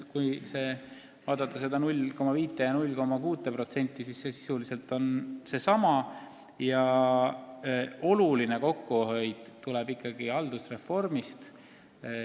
Mis puudutab seda 0,5% ja 0,6%, siis oluline kokkuhoid tuleb ikkagi haldusreformist.